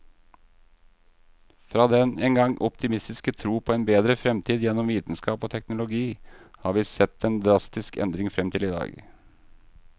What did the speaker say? Fra den engang optimistiske tro på en bedre fremtid gjennom vitenskap og teknologi, har vi sett en drastisk endring frem til i dag.